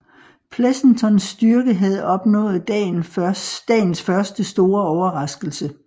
Pleasontons styrke havde opnået dagens første store overraskelse